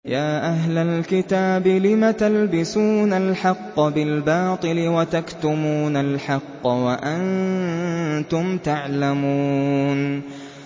يَا أَهْلَ الْكِتَابِ لِمَ تَلْبِسُونَ الْحَقَّ بِالْبَاطِلِ وَتَكْتُمُونَ الْحَقَّ وَأَنتُمْ تَعْلَمُونَ